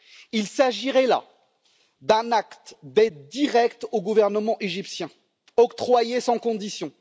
Il s'agirait là d'un acte d'aide directe au gouvernement égyptien octroyée sans condition.